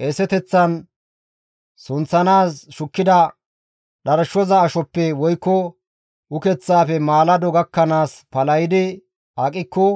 Qeeseteththan sunththanaas shukkida dharshoza ashoppe woykko ukeththaafe maalado gakkanaas palahidi aqikko